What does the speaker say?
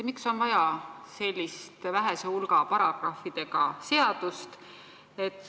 Miks on vaja sellist vähese hulga paragrahvidega seadust?